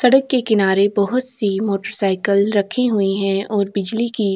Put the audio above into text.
सड़क के किनारे बहुत सी मोटर साइकिल रखी हुई हैं और बिजली की --